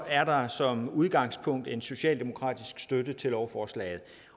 er der som udgangspunkt en socialdemokratisk støtte til lovforslaget